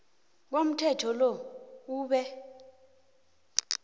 komthetho lo ube